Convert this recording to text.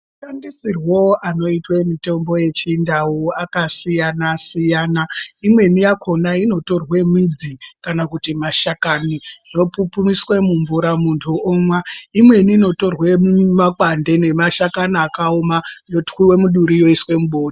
Mashandisirwo anoitwe mutombo yechindau akasiyana siyana imweni yakhona inotorwe midzi kana kuti mashakani zvopipumiswe mumvura muntu omwa imweni inotorwe makwande nemashakani akaoma yotwiwe muduri yoiswe mubo.